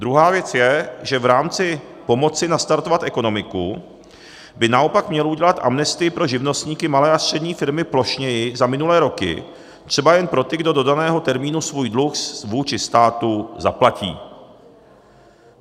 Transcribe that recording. Druhá věc je, že v rámci pomoci nastartovat ekonomiku by naopak měl udělat amnestii pro živnostníky, malé a střední firmy plošněji za minulé roky, třeba jen pro ty, kdo do daného termínu svůj dluh vůči státu zaplatí.